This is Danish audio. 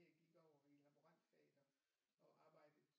Jeg gik over i et laborantfag og arbejdede